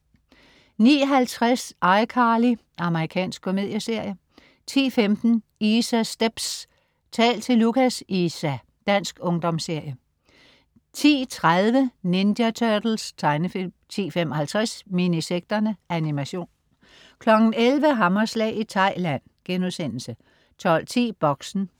09.50 iCarly. Amerikansk komedieserie 10.15 Isas stepz. Tal til Lucas, Isa!. Dansk ungdomsserie 10.30 Ninja Turtles. Tegnefilm 10.55 Minisekterne. Animation 11.00 Hammerslag i Thailand* 12.10 Boxen